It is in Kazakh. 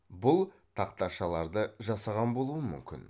бұл тахташаларды жасаған болуы мүмкін